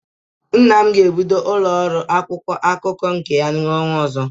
Nna m ga-ebido ụlọ ọrụ akwụkwọ akụkọ nke ya n'ọnwa ọzọ.